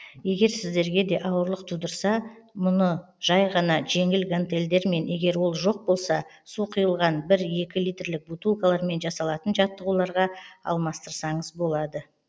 егер сіздерге де ауырлық тудырса бұны жай ғана жеңіл гантельдермен егер ол жоқ болса су құйылған бір екі литрлік бутылкалармен жасалатын жаттығуларға алмастырсаныз болады